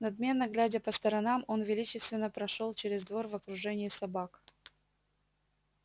надменно глядя по сторонам он величественно прошёл через двор в окружении собак